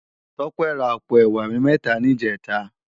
Tope rá àpó èwá mètá nijètá